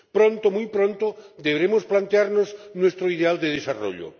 Pronto, muy pronto, deberemos plantearnos nuestro ideal de desarrollo.